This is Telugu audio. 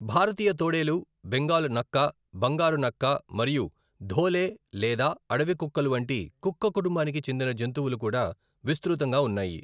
భారతీయ తోడేలు, బెంగాల్ నక్క, బంగారు నక్క, మరియు ధోలే లేదా అడవి కుక్కలు వంటి కుక్క కుటుంబానికి చెందిన జంతువులు కూడా విస్త్రృతంగా ఉన్నాయి.